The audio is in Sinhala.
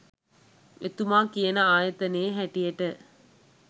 එතුමා කියන ආයතනයේ හැටියට